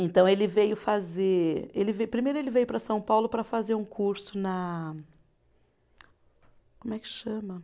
Então ele veio fazer. Ele ve, primeiro ele veio para São Paulo para fazer um curso na, como é que chama?